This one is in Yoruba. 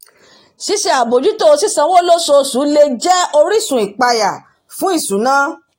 ṣíṣe àbójútó sì sanwó lóṣooṣù lè jẹ́ orísun ìpayà fún ìṣúná